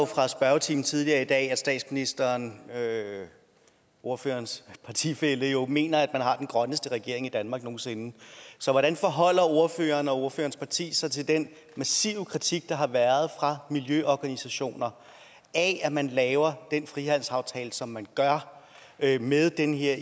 fra spørgetimen tidligere i dag at statsministeren ordførerens partifælle jo mener at man har den grønneste regering i danmark nogen sinde så hvordan forholder ordføreren og ordførerens parti sig til den massive kritik der har været fra miljøorganisationer af at man laver en frihandelsaftale som man gør med den her